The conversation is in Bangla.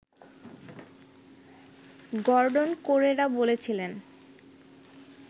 গর্ডন কোরেরা বলছিলেন